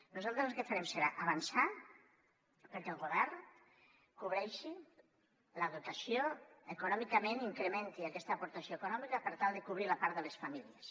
nosaltres el que farem serà avançar perquè el govern econòmicament incrementi aquesta aportació econòmica per tal de cobrir la part de les famílies